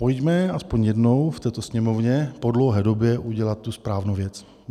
Pojďme aspoň jednou v této Sněmovně po dlouhé době udělat tu správnou věc.